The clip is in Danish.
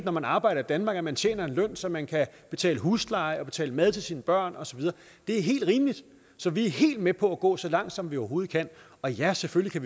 når man arbejder i danmark at man tjener en løn så man kan betale husleje og betale mad til sine børn og så videre det er helt rimeligt så vi er helt med på at gå så langt som vi overhovedet kan og ja selvfølgelig